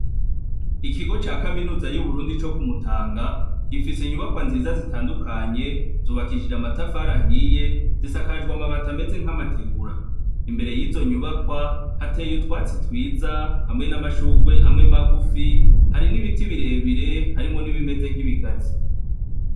Ikigo ca kaminuza y'Uburundi yo Kumutanga, gifise inyubakwa nziza zitandukanye, zubakishijwe amatafari ahiye, zisakajwe amabati ameze nk’amategura . Imbere yizo nyubakwa hateye utwatsi twiza hamwe n’amashugwe amwe magufi, hari n'ibiti birebire harimo n'ibimeze nkibigazi.